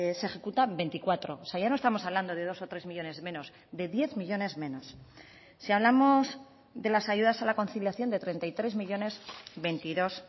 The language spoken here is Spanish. se ejecutan veinticuatro o sea ya no estamos hablando de dos o tres millónes menos de diez millónes menos si hablamos de las ayudas a la conciliación de treinta y tres millónes veintidós